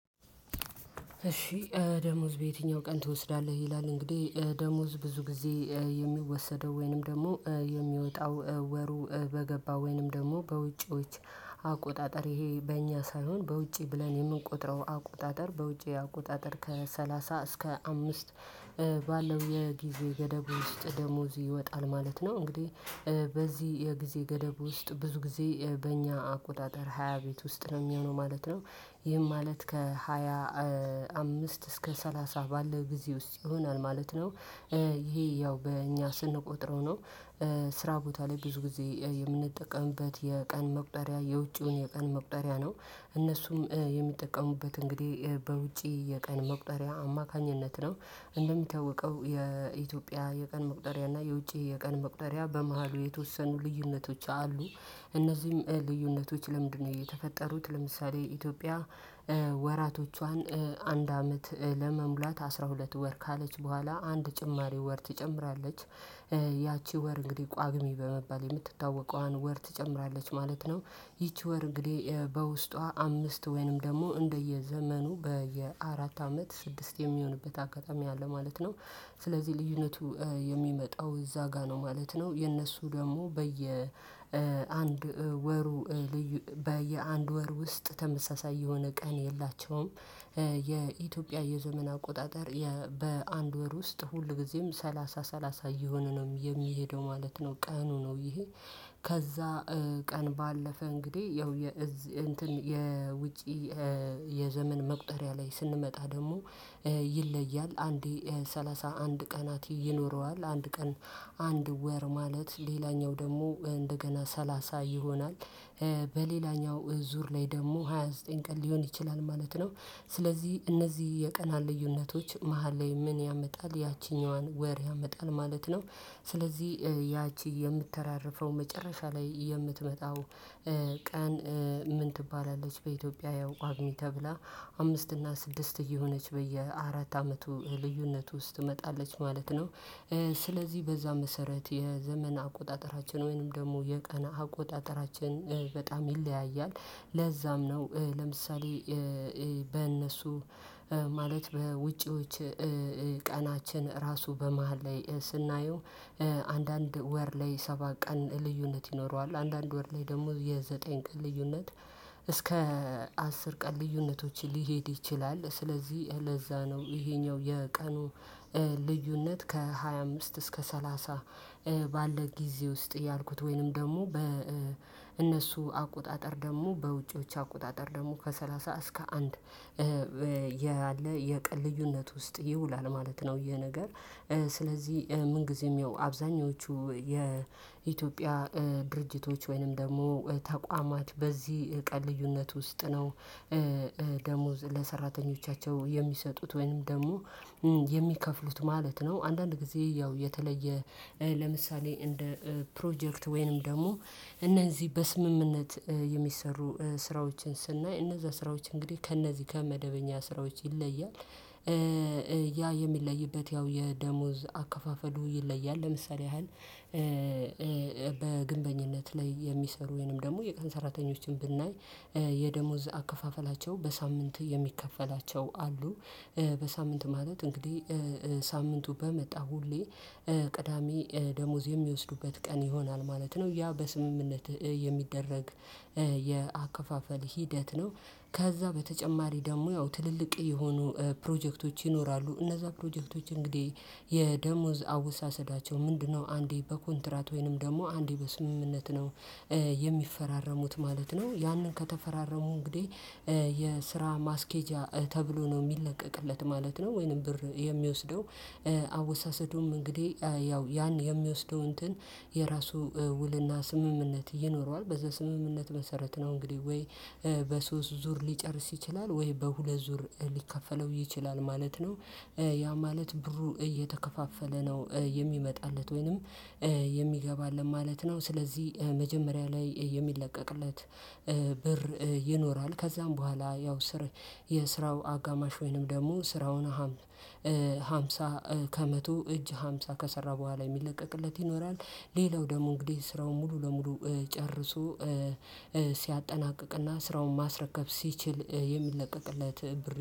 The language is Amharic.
እሺ ደሞዝ በየትኛው ቀን ትወስዳለህ ይላል እንግዲህ ደሞዝ ብዙ ጊዜ የሚወሰደው ወይንም ደግሞ የሚወጣው ወሩ በገባ ወይንም ደግሞ በውጪዎች አቆጣጠር ይሄ በእኛ ሳይሆን በውጪ ብለን የምንቆጥረው አቆጣጠር በውጪ አቆጣጠር ከሰላሳ እስከ አምስት የጊዜ ገደብ ውስጥ ደሞዝ ይወጣል ማለት ነው እንግዲህ በዚህ የጊዜ ገደብ ውስጥ ብዙ ጊዜ በእኛ አቆጣጠር ሃያ ቤት ውስጥ ነው የሚሆነው ማለት ነው ይህም ማለት ከሃያ አምስት እስከ ሰላሳ ባለው ጊዜ ውስጥ ይሆናል ማለት ነው። ይሄ ያው በእኛ ስንቆጥረው ነው። ስራ ቦታ ላይ ብዙ ጊዜ የምንጠቀምበት የቀን መቁጠሪያ የውጪውን የቀን መቁጠሪያ ነው እነሱም የሚጠቀሙበት እንግዲህ በውጪ የቀን መቁጠሪያ አማካኝነት ነው እንደሚታወቀው የኢትዮጵያ የቀን መቁጠሪያ እና የውጪ የቀን መቁጠሪያ በመሃሉ የተወሰኑ ልዩነቶች አሉ። እነዚህም ልዩነቶች ለምንድነው የተፈጠሩት ለምሳሌ ኢትዮጵያ ወራቶቿን አንድ አመት ለመሙላት አስራ ሁለት ወር ካለች በኋላ አንድ ጭማሪ ወር ትጨምራለች ያቺ ወር እንግዲህ ቋግሜ በመባል የምትታወቀዋን ወር ትጨምራለች ማለት ነው ይቺ ወር እንግዲህ በውስጧ አምስት ወይንም ደግሞ እንደየዘመኑ በየአራት አመት ስድስት የሚሆንበት አጋጣሚ አለ ማለት ነው። ስለዚህ ልዩነቱ የሚመጣው እዛ ጋር ነው ማለት ነው። የእነሱ ደግሞ በየ አንድ ወሩ በየአንድ ወር ውስጥ ተመሳሳይ የሆነ ቀን የላቸውም የኢትዮጵያ የዘመን አቆጣጠር በአንድ ወር ውስጥ ሁልጊዜም ሰላሳ ሰላሳ እየሆነ ነው የሚሄደው ማለት ነው ቀኑ ነው ይሄ። ከዛ ቀን ባለፈ እንግዲህ ያው የውጪ የዘመን መቁጠሪያ ላይ ስንመጣ ደግሞ ይለያል አንዴ ሰላሳ አንድ ቀናት ይኖረዋል አንድ ቀን አንድ ወር ማለት ሌላኛው ደግሞ እንደገና ሰላሳ ይሆናል በሌላኛው ዙር ላይ ደግሞ ሃያ ዘጠኝ ቀን ሊሆን ይችላል ማለት ነው። ስለዚህ እነዚህ የቀናን ልዩነቶች መሃል ላይ ምን ያመጣል ያቺኛዋን ወር ያመጣል ማለት ነው። ስለዚህ ያቺ የምተራረፈው መጨረሻ ላይ የምትመጣው ቀን ምን ትባላለች በኢትዮጵያ ያው ቋግሜ ተብላ አምስት እና ስድስት እየሆነች በየአራት አመቱ ልዩነት ውስጥ ትመጣለች ማለት ነው ስለዚህ በዛ መሰረት የዘመን አቆጣጠራችን ወይንም ደግሞ የቀን አቆጣጠራችን በጣም ይለያያል ለዛም ነው ለምሳሌ በእነሱ ማለት በውጪዎች ቀናችን ራሱ በመሃል ላይ ስናየው አንዳንድ ወር ላይ ሰባት ቀን ልዩነት ይኖረዋል አንዳንድ ወር ላይ ደግሞ የዘጠኝ ቀን ልዩነት እስከ አስር ቀን ልዩነቶች ሊሄድ ይችላል ስለዚህ ለዛ ነው ይሄኛው የቀኑ ልዩነት ከሃያ አምስት እስከ ሰላሳ ባለ ጊዜ ውስጥ ያልኩት ወይንም ደግሞ በእነሱ አቆጣጠር ደግሞ በውጪዎች አቆጣጠር ደግሞ ከሰላሳ እስከ አንድ ያለ የቀን ልዩነት ውስጥ ይውላል ማለት ነው ይሄ ነገር ስለዚህ ምን ጊዜም ያው አብዛኞቹ የኢትዮጵያ ድርጅቶች ወይንም ደግሞ ተቋማት በዚህ ቀን ልዩነት ውስጥ ነው ደሞዝ ለሰራተኞቻቸው የሚሰጡት ወይም ደግሞ የሚከፍሉት ማለት ነው። አንዳንድ ጊዜ ያው የተለየ ለምሳሌ እንደ ፕሮጀክት ወይንም ደግሞ እነዚህ በስምምነት የሚሰሩ ስራዎችን ስናይ እነዛ ስራዎች እንግዲህ ከእነዚህ ከመደበኛ ስራዎች ይለያል ያ የሚለይበት ያው የደሞዝ አከፋፈሉ ይለያል ለምሳሌ ያህል በግንበኝነት ላይ የሚሰሩ ወይንም ደግሞ የቀን ሰራተኞችን ብናይ የደሞዝ አከፋፈላቸው በሳምንት የሚከፈላቸው አሉ በሳምንት ማለት እንግዲህ ሳምንቱ በመጣ ሁሌ ቅዳሜ ደሞዝ የሚወስዱበት ቀን ይሆናል ማለት ነው ያ በስምምነት የሚደረግ የአከፋፈል ሂደት ነው ከዛ በተጨማሪ ደግሞ ያው ትልልቅ የሆኑ ፕሮጀክቶች ይኖራሉ እነዛ ፕሮጀክቶች እንግዲህ የደሞዝ አወሳሰዳቸው ምንድነው አንዴ በኮንትራት ወይንም ደግሞ አንዴ በስምምነት ነው የሚፈራረሙት ማለት ነው ያንን ከተፈራረሙ እንግዲህ የስራ ማስኬጃ ተብሎ ነው የሚለቀቅለት ማለት ነው ወይንም ብር የሚወስደው አወሳሰዱም እንግዲህ ያው ያን የሚወስደው እንትን የራሱ ውልና ስምምነት ይኖረዋል በዛ ስምምነት መሰረት ነው እንግዲህ ወይ በሶስት ዙር ሊጨርስ ይችላል ወይ በሁለት ዙር ሊከፈለው ይችላል ማለት ነው። ያ ማለት ብሩ እየተከፋፈለ ነው የሚመጣለት ወይንም ማለት ነው ስለዚህ መጀመሪያ ላይ የሚለቀቅለት ብር ይኖራል ከዛም በኋላ ያው ስር የስራው አጋማሽ ወይንም ደግሞ ስራውን ሃምሳ ከመቶ እጅ ሃምሳ ከሰራ በኋላ የሚለቀቅለት ይኖራል ሌላው ደግሞ እንግዲህ ስራውን ሙሉ ለሙሉ ጨርሶ ሲያጠናቅቅና ስራውን ማስረከብ ሲችል የሚለቀቅለት ብር